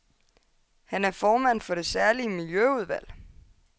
Han er formand for det særlige miljøudvalg.